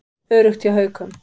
Öruggt hjá Haukum